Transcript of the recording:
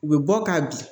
U bɛ bɔ ka bin